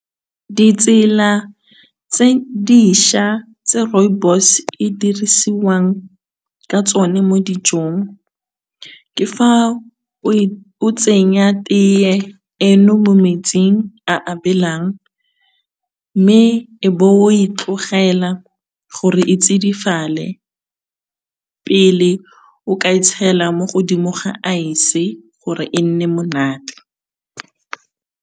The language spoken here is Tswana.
Ditsela tse dintšhwa tse rooibos e dirisiwang ka tsone mo dijong ke fa o tsenya teye eno mo metsing a a belang, mme e be o e tlogela gore e tsidifale pele o ka e tshela mo godimo ga aese gore e nne monate.